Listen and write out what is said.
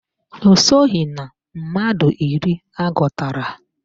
Ọ soghi na mmadụ iri agụtara